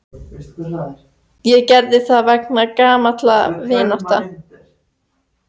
Ég gerði það vegna gamallar vináttu.